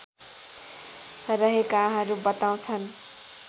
रहेकाहरू बताउँछन्